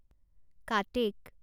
কাটেক